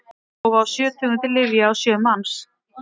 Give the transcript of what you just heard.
prófa á sjö tegundir lyfja á sjö manns